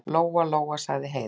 Lóa-Lóa, sagði Heiða.